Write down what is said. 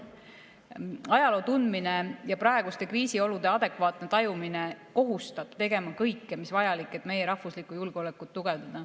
Ajaloo tundmine ja praeguste kriisiolude adekvaatne tajumine kohustab tegema kõike, mis vajalik, et meie rahvuslikku julgeolekut tugevdada.